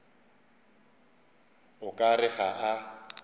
o ka re ga a